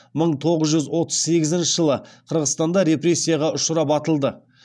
мың тоғыз жүз отыз сегізінші жылы қырғызстанда репрессияға ұшырап атылды